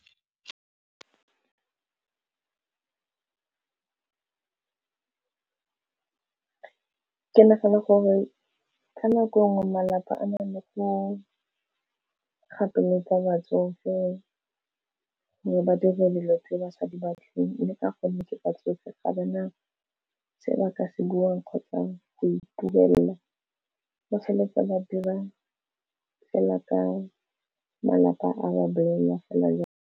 Ke nagana gore ka nako e nngwe malapa a na le go kgatolosa batsofe gore ba dire dilo tse ba sa di batleng le ka gonne ke batsofe ga ba na se ba ka se buang kgotsa go itumelela ba tshwanetse ba dira fela ka malapa a ba bolelela fela jang.